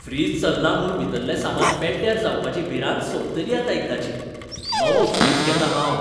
Fridge चलना म्हूण भितरलें सामान पेड्ड्यार जावपाची भिरांत सोंपतली आतां एकदाचीं. नवो फ्रीज घेतां हांव.